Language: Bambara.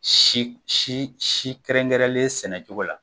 Si si si kɛrɛnkɛrɛnlen sɛnɛcogo la.